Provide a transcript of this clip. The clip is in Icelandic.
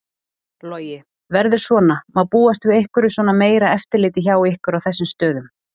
Logi: Verður svona, má búast við einhverju svona meira eftirliti hjá ykkur á þessum stöðum?